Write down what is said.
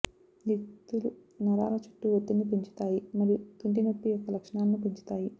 ఈ యుక్తులు నరాల చుట్టూ ఒత్తిడిని పెంచుతాయి మరియు తుంటి నొప్పి యొక్క లక్షణాలను పెంచుతాయి